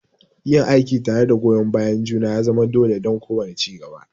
Yin aiki tare da goyon bayan juna ya zama dole don kowane ci gaba.